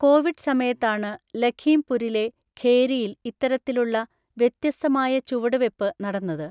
Covid സമയത്താണ് ലഘീംപുരിലെ ഖേരിയില് ഇത്തരത്തിലുള്ള വ്യത്യസ്തമായ ചുവടുവെപ്പ് നടന്നത്.